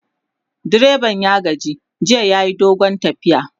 direban ya gaji jiya yayi dogon tafiya